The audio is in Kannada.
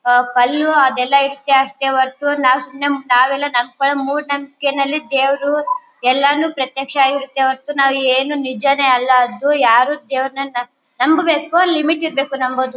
ಅಹ್ ಕಲ್ಲು ಅದೆಲ್ಲಾ ಇರತ್ತೆ ಅಷ್ಟೇ ಹೊರತು ನಾವ್ ಸುಮ್ನೆ ನಾವೆಲ್ಲಾ ನಮ್ಕಡೆ ಮೂಡ್ನಂಬಿಕೆ ನಲ್ಲಿ ದೇವ್ರು ಎಲ್ಲಾನು ಪ್ರತ್ಯಕ್ಷ ವಾಗಿರತ್ತೆ ಹೊರತು ನಾವ್ ಏನು ನಿಜಾನೆ ಅಲ್ಲಾ. ಅದು ಯಾರು ದೇವರನ್ನ ನಂಬ್ ನಂಬ್ ಬೇಕು ಲಿಮಿಟ್ ಇರ್ಬೇಕು ನಂಬೋದು.